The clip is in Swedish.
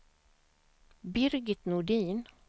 Birgit Nordin